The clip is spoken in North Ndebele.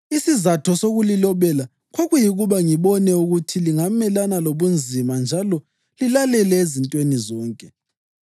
Isizatho sokulilobela kwakuyikuba ngibone ukuthi lingamelana lobunzima njalo lilalele ezintweni zonke.